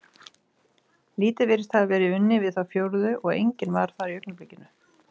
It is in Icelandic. Lítið virtist hafa verið unnið við þá fjórðu og enginn var þar í augnablikinu.